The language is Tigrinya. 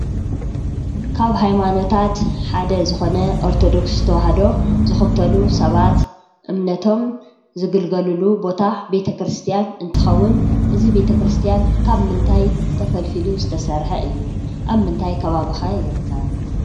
ካብ ሃይማኖታት ሓደ ዝኾነ ኦርቶዶክስ ተዋህዶ ዝኽተሉ ሰባት እምነቶም ዝግልገሉሉ ቦታ ቤተ ክርስቲያን እንትኸውን እዚ ቤተ ክርስቲያን ካብ ምንታይ ተፈልፊሉ ዝተሰርሐ እዩ? ኣብ ምንታይ ከባቢ ኸ ይርከብ?